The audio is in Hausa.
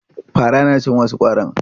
Fara na cin wasu ƙwarin.